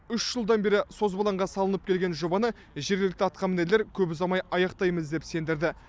үш жылдан бері созбалаңға салынып келген жобаны жергілікті атқамінерлер көп ұзамай аяқтаймыз деп сендірді